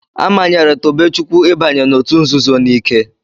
A manyere Tobechukwu ịbanye n'òtù nzuzo n'ike.